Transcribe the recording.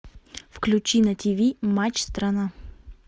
включи на тв матч страна